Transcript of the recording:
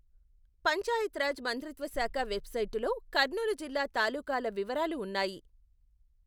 పంచాయత్ రాజ్ మంత్రిత్వ శాఖ వెబ్సైటులో కర్నూలు జిల్లా తాలూకాల వివరాలు ఉన్నాయి.